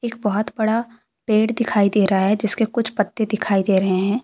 बहोत बड़ा पेड़ दिखाई दे रहा है जिसके कुछ पत्ते दिखाई दे रहे हैं।